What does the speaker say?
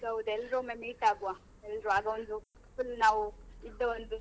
ಹೌದು ಹೌದು ಎಲ್ರು ಒಮ್ಮೆ meet ಆಗುವ ಎಲ್ರು ಆಗ ಒಂದು full ನಾವು ಇದೊಂದು.